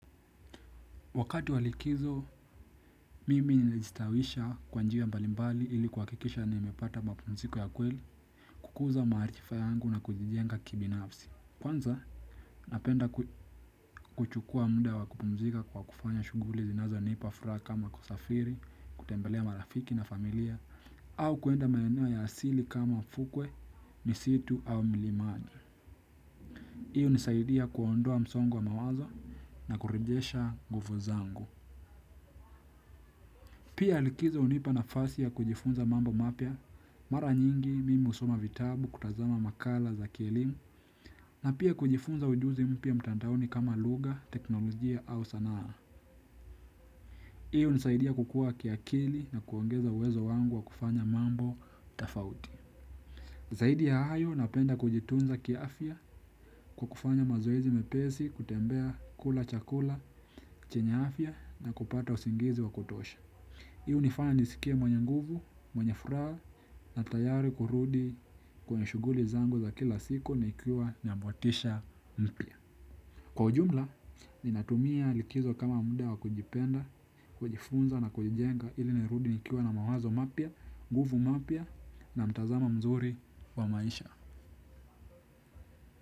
Wakati wa likizo, mimi nilistawisha kwa njia mbalimbali ili kuhakikisha nimepata mapumziko ya kweli kukuza maarifa yangu na kujijenga kibinafsi. Kwanza, napenda kuchukua muda wa kupumzika kwa kufanya shughuli zinazonipa furaha kama kusafiri, kutembelea marafiki na familia, au kuenda maeneo ya asili kama fukwe, misitu au milimani. Iyo hunisaidia kuondoa msongo wa mawazo na kurejesha nguvu zangu. Pia likizo hunipa nafasi ya kujifunza mambo mapya mara nyingi mimi husoma vitabu kutazama makala za kielimu, na pia kujifunza ujuzi mpya mtandaoni kama lugha teknolojia au sanaa. Hiyo hunisaidia kukua kiakili na kuongeza uwezo wangu wa kufanya mambo tofauti. Zaidi ya hayo napenda kujitunza kiafya kwa kufanya mazoezi mepesi kutembea kula chakula, chenya afya na kupata usingizi wa kutosha. Hii hunifanya niskie mwenye nguvu, mwenye furaha na tayari kurudi kwenye shughuli zangu za kila siku na nikiwa na motisha mpya. Kwa ujumla, ninatumia likizo kama muda wa kujipenda, kujifunza na kujenga ili nirudi nikiwa na mawazo mapya, nguvu mapya na mtazamo mzuri wa maisha.